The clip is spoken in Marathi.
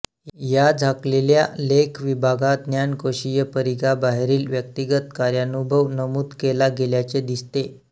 या झाकलेल्या लेख विभागा ज्ञानकोशीय परिघा बाहेरील व्यक्तिगत कार्यानुभव नमुद केला गेल्याचे दिसते